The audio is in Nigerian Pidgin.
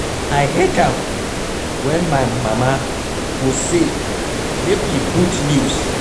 I hate am wen my mama go say make we put news